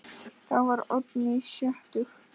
Þá var Oddný sjötug.